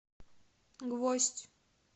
гвоздь